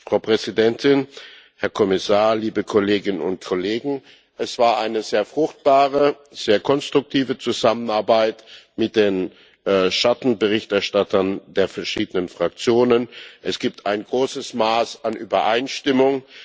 Frau Präsidentin, Herr Kommissar, liebe Kolleginnen und Kollegen, es war eine sehr fruchtbare, sehr konstruktive Zusammenarbeit mit den Schattenberichterstattern der verschiedenen Fraktionen. Es gibt ein großes Maß an Übereinstimmung.